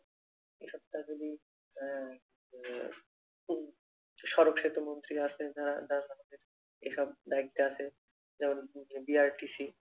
আহ উম সড়ক সেতু মন্ত্রি আছে যারা যার এসব দায়িত্বে আছে যেমন BRTC